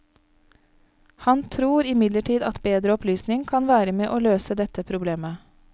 Han tror imidlertid at bedre opplysning kan være med og løse dette problemet.